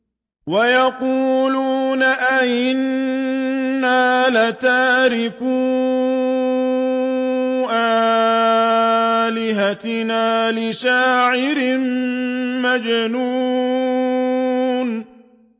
وَيَقُولُونَ أَئِنَّا لَتَارِكُو آلِهَتِنَا لِشَاعِرٍ مَّجْنُونٍ